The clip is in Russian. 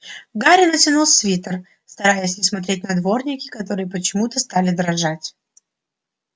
гарри натянул свитер стараясь не смотреть на дворники которые почему-то стали дрожать